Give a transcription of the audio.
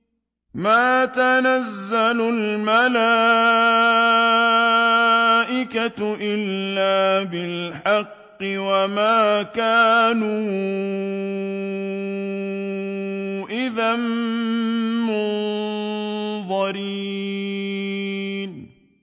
مَا نُنَزِّلُ الْمَلَائِكَةَ إِلَّا بِالْحَقِّ وَمَا كَانُوا إِذًا مُّنظَرِينَ